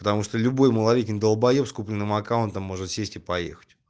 потому что любой малолетний долбаеб с купленным аккаунтом может сесть и поехать